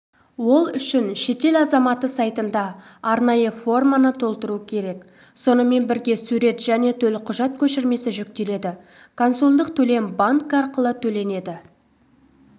ол үшін шетел азаматы сайтында арнайы форманы толтыруы керек сонымен бірге сурет және төлқұжат көшірмесі жүктеледі консулдық төлем банк арқылы төленеді